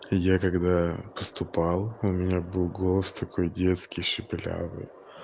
я когда поступал у меня был голос такой детский шепелявый